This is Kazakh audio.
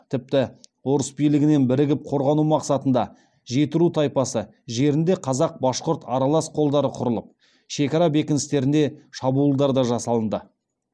тіпті орыс билігінен бірігіп корғану мақсатында жетіру тайпасы жерінде қазақ башқұрт аралас қолдары құрылып шекара бекіністеріне шабуылдар да жасалынды